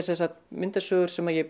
sem sagt myndasögur sem ég